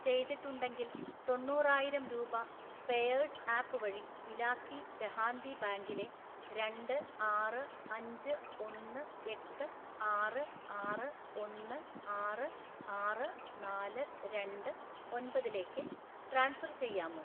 ചെയ്തിട്ടുണ്ടെങ്കിൽ തൊണ്ണൂറായിരം രൂപ പേയേഴ്സ് ആപ്പ് വഴി ഇലാക്കി ദെഹാന്തി ബാങ്കിലെ രണ്ട് ആറ് അഞ്ച് ഒന്ന് എട്ട് ആറ് ആറ് ഒന്ന് ആറ് ആറ് നാല് രണ്ട് ഒൻപതിലേക്ക് ട്രാൻസ്ഫർ ചെയ്യാമോ?